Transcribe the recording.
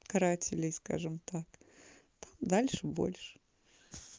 карателей скажем так дальше больше